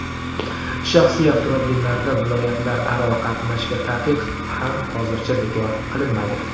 Shaxsiy avtomobillarda viloyatlararo qatnashga taqiq ham hozircha bekor qilinmaydi .